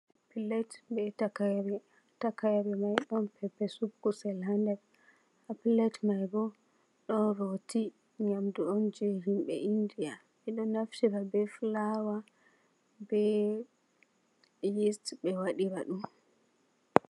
Fillait be takaire. Takaire mai don pepesup kusel ha nder, ha fillait mai bo don Rowti nyamdu on je himbe India. Bedon naftira be Fulawa, be Yist, be wadira dum